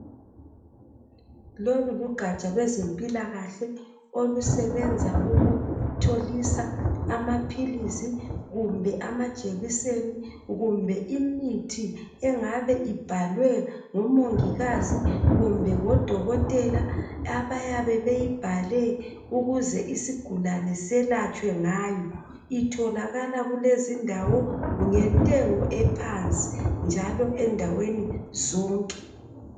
lolu lugatsha lwezempilakahle olusebenza ukutholisa amaphilisi kumbe amajekiseni kumbe imithi engabe ibhalwe ngomongikazi kumbe ngo dokotela abayabe beyibhale ukuze isigulane selatshwe ngayo itholakala kulezi indawo ngentengu ephansi njalo endaweni zonke